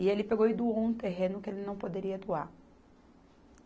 E ele pegou e doou um terreno que ele não poderia doar.